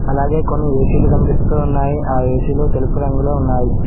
అలాగే కొన్ని ఏ_సీలు కనిపిస్తూ ఉన్నాయి ఆ ఏ_సీలు తెలుపు రంగులో ఉన్నాయి.